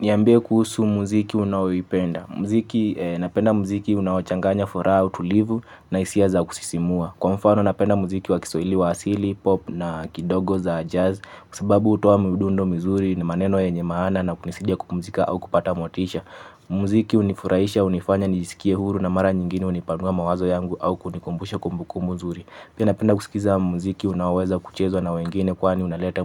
Niambie kuhusu muziki unaoipenda. Muziki napenda muziki unaochanganya furaha, utulivu na hisia za kusisimua. Kwa mfano napenda muziki wa kiswahili wa asili, pop na kidogo za jazz. Kwa sababu hutoa midundo mizuri na maneno yenye maana na kunisaidia kupumzika au kupata motisha. Muziki hunifurahisha, hunifanya nijisikie huru na mara nyingine hunipanua mawazo yangu au kunikumbusha kumbukumbu nzuri. Pina napenda kusikiza mziki unaoweza kuchezwa na wengine kwani unaleta